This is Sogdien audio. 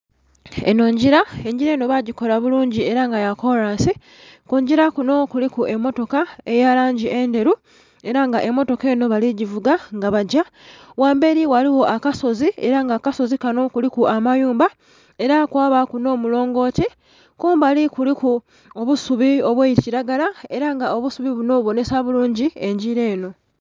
Enho ngila, engila enho bagikola bulungi era nga yakolansi, kungila kunho kuliku emmotoka eya langi endhelu era nga emmotoka enho bali givuga nga bagya gha mbeli ghaligho akasozi era nga kumbali ku kasozi kunho kuliku amayumba era kwabaku nho kalongoti kumbali kuliku obusuubi obwa kilagala era nga obusuubi bunho bubonhesa bulungi engila enho.